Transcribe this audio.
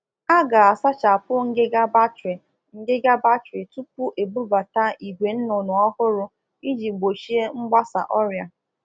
Tutu e bubata ụmụ ọkụkọ ọhụrụ, o kwesịrị ka ejiri ihe na egbu egbu nje sachasịa ụlọ igwe obibi ọkụkọ iji gbochie nkesa ọrịa